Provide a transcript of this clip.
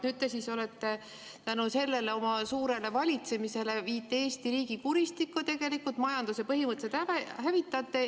Nüüd te tänu sellele suurele valitsemisele viite Eesti riigi kuristikku tegelikult, majanduse põhimõtteliselt hävitate.